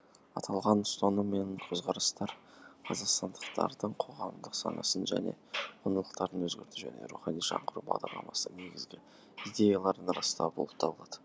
аталған ұстаным мен көзқарастар қазақстандықтардың қоғамдық санасын және құндылықтарын өзгерту және рухани жаңғыру бағдарламасының негізгі идеяларын растау болып табылады